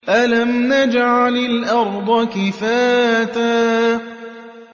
أَلَمْ نَجْعَلِ الْأَرْضَ كِفَاتًا